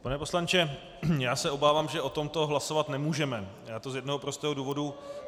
Pane poslanče, já se obávám, že o tomto hlasovat nemůžeme, a to z jednoho prostého důvodu.